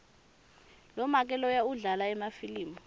lomake loya udlala emafilimu